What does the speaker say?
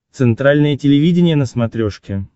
центральное телевидение на смотрешке